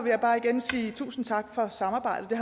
jeg bare igen sige tusind tak for samarbejdet